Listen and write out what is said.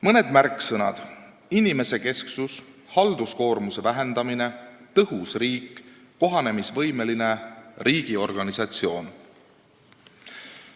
Mõned märksõnad: inimesekesksus, halduskoormuse vähendamine, tõhus riik, kohanemisvõimeline riigiorganisatsioon.